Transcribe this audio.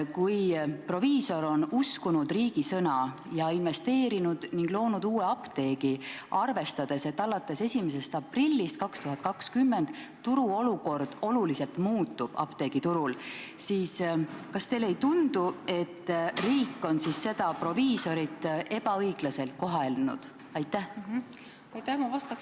Kui proviisor on uskunud riigi sõna ja investeerinud ning loonud uue apteegi, arvestades, et alates 1. aprillist 2020 olukord apteegiturul oluliselt muutub, siis kas teile ei tundu, et riik on seda proviisorit ebaõiglaselt kohelnud, kui reformi katkestab?